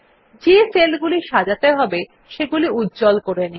যে সেলগুলো সাজাতে হবে সেগুলি উজ্জ্বল করে নিন